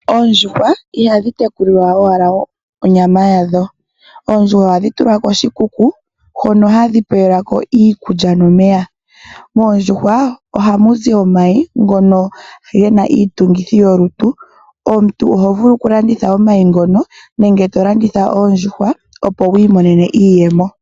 Oondjuhwa ihadhi tekulwa owala molwa onyama yadho. Oondjuhwa ohadhi tulwa koshikuku, hono hadhi pewelwako iikulya nomeya. Moondjuhwa ohamuzi omayi ngono gena iitungithi yolutu. Omuntu ohovulu okulanditha omayi ngono, nenge tolanditha oondjuhwa, opo wu imonene iiyemo.